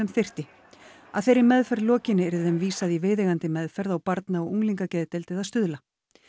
þyrfti að þeirri meðferð lokinni yrði þeim vísað í viðeigandi meðferð á barna og unglingageðdeild eða á Stuðla